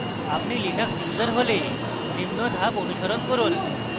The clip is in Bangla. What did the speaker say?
আপনি linux user হলে নিম্ন ধাপ অনুসরণ করুন